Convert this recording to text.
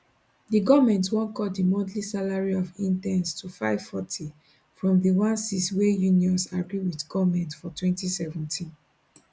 di goment wan cut di monthly salary of interns to 540 from di 1600 wey unions agree wit goment for 2017